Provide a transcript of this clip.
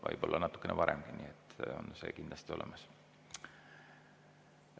Võib-olla natukene varemgi on see kindlasti olemas.